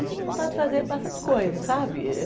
Eu tinha vontade de fazer bastante coisa, sabe?